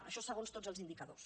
això segons tots els indicadors